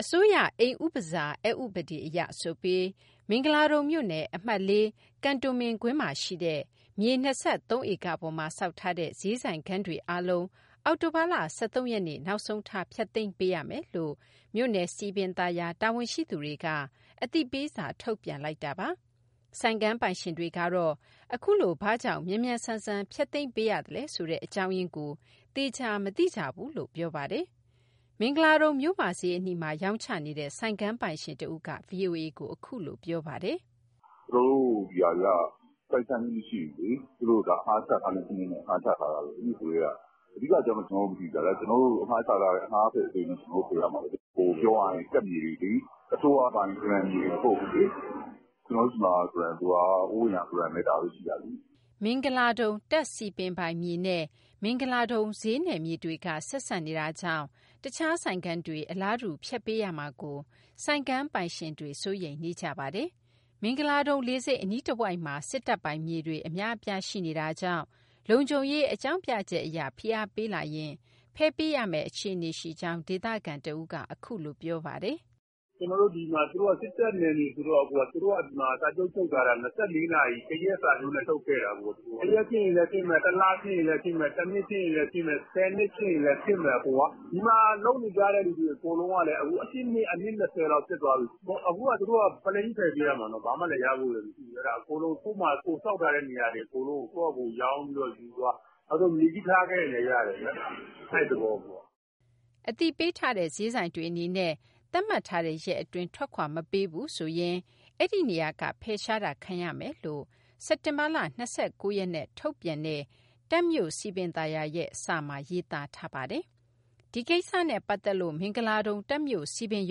အစိုးရအိမ်ဥပစာ (နှင်ထုတ်ခြင်း) အက်ဥပဒေအရ ဆိုပြီး မင်္ဂလာဒုံမြို့နယ် အမှတ်(၄) ကန်တိုမင်ကွင်းမှာရှိတဲ့ မြေ ၂၃ ဧကပေါ်မှာဆောက်ထားတဲ့ ဈေးဆိုင်ခန်းတွေအားလုံး အောက်တိုဘာလ ၁၃ ရက်နေ့ နောက်ဆုံးထား ဖျက်သိမ်းပေးရမယ်လို့ မြို့နယ်စည်ပင်သာယာ တာဝန်ဝန်ရှိသူတွေက အသိပေးစာ ထုတ်ပြန်လိုက်တာပါ။ ဆိုင်ခန်းပိုင်ရှင်တွေကတော့ အခုလို ဘာကြောင့် မြန်မြန်ဆန်ဆန် ဖျက်သိမ်းပေးရသလဲဆိုတဲ့ အကြောင်းရင်းကို သေချာမသိကြဘူးလို့ ပြောပါတယ်။ မင်္ဂလာဒုံမြို့မဈေးအနီးမှာ ရောင်းချနေတဲ့ ဆိုင်ခန်းပိုင်ရှင်တဦးက VOA ကို အခုလိုပြောပါတယ်။ " ကျနော်တို့ဒီဟာတွေက ပိုင်ဆိုင်မှုမရှိဘူးလေ သူတို့အငှားချထားတဲ့စနစ်နဲ့ အငှားချထားတာ နဂိုကတည်းက။ အဓိကအကြောင်းတော့ ကျနော်တို့မသိဘူးဗျ အငှားဆိုတော့ ကျနော်တို့ကို ဖယ်ပေးဆို ဖယ်ပေးရမှာပဲလေ။ ပြောရရင် တပ်မြေတွေလေ အစိုးရပိုင်ဂရံမြေတွေ မဟုတ်ဘူးလေ၊ ကျနော်တို့ဆီမှာ ဂရံဆိုတာက ဟိုးအရင်ကဂရံပဲ ဒါပဲရှိတာလေ။" မင်္ဂလာဒုံ တပ်စည်ပင်ပိုင်မြေနဲ့ မင်္ဂလာဒုံဈေးနယ်မြေတွေက ဆက်စပ်နေတာကြောင့် တခြားဆိုင်ခန်းတွေ အလားတူ ဖျက်ပေးရမှာကို ဆိုင်ခန်းပိုင်ရှင်တွေ စိုးရိမ်နေကြပါတယ်။ မင်္ဂလာဒုံလေဆိပ်အနီးတဝိုက်မှာ စစ်တပ်ပိုင်မြေတွေ အများအပြား ရှိနေတာကြောင့် လုံခြုံရေးအကြောင်းပြချက်အရ ဖိအားပေးလာရင် ဖယ်ပေးရမယ့် အခြေအနေရှိကြောင်း ဒေသခံတဦးက အခုလိုပြောပါတယ်။ " ဒီမှာက စစ်တပ်နယ်မြေဆိုတော့ သူတို့ကဒီမှာစာချုပ်ချုပ်ထားတာ ၂၄နာရီ တရက်စာချုပ်နဲ့ ချုပ်ခဲ့တာ။ တရက်ဖြစ်ရင်လည်းဖြစ်မယ်၊ တလဖြစ်ရင်လည်းဖြစ်မယ်၊ တနှစ်ဖြစ်ရင်လည်းဖြစ်မယ်၊ ဆယ်နှစ်ဖြစ်ရင်လည်းဖြစ်မယ်။ ဒီမှာလုပ်နေကြတဲ့လူတွေ အကုန်လုံးက ၁၈နှစ် အနှစ်၂၀လောက် ဖြစ်သွားပြီ၊ အခုကသူတို့က ပလိန်းကြီးဖယ်ပေးရမှာ ဘာမှလည်းရဖို့လည်းမရှိဘူး၊ ကိုယ်ဆောက်ထားတဲ့ နေရာတွေအကုန်လုံးကိုယ့်ဖာသာ ရောင်းပြီးတော့ယူသွား၊ နောက်ဆုံး မြေကြီးထားခဲ့ရင်လည်းရတယ် အဲဒီသဘော။" အသိပေးထားတဲ့ ဈေးဆိုင်တွေအနေနဲ့ သတ်မှတ်ထားတဲ့ရက်အတွင်း ထွက်ခွာမပေးဘူးဆိုရင် အဲဒီနေရာက ဖယ်ရှားတာ ခံရမယ်လို့ စက်တင်ဘာလ ၂၉ ရက်နဲ့ ထုတ်ပြန်ခဲ့တဲ့ တပ်မြို့စည်ပင်သာယာရဲ့ စာမှာ ရေးသားထားတာပါ။ ဒီကိစ္စနဲ့ ပတ်သက်လို့ မင်္ဂလာဒုံ တပ်မြို့စည်ပင်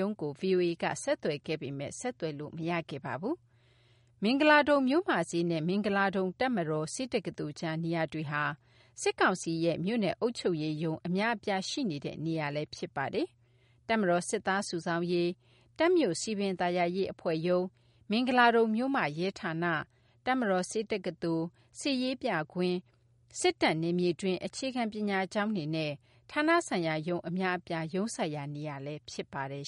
ရုံးကို ဗွီအိုအေက ဆက်သွယ်ခဲ့ပေမဲ့ ဆက်သွယ်လို့ မရခဲ့ပါဘူး။ မင်္ဂလာဒုံမြို့မဈေးနဲ့ မင်္ဂလာဒုံ တပ်မတော် ဆေးတက္ကသိုလ်ကြား နေရာတွေဟာ စစ်ကောင်စီရဲ့ မြို့နယ်အုပ်ချုပ်ရေး ရုံးအများအပြားရှိနေတဲ့ နေရာလည်း ဖြစ်ပါတယ်။ တပ်မတော်စစ်သားစုဆောင်းရေး၊ တပ်မြို့စည်ပင်သာယာရေး အဖွဲ့ရုံး၊ မင်္ဂလာဒုံမြို့မ ရဲဌာန၊ တပ်မတော်ဆေးတက္ကသိုလ်၊ စစ်ရေးပြကွင်း၊ စစ်တပ်နယ်မြေတွင်း အခြေခံပညာကျောင်းတွေနဲ့ ဌာနဆိုင်ရာရုံးအများအပြား ရုံးစိုက်ရာနေရာလည်း ဖြစ်ပါတယ်